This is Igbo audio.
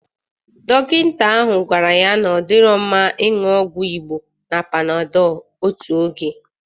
Dọkịta ahụ gwara ya na ọ dịrọ mma ịṅụ ọgwụ Igbo na Panadọl otu oge.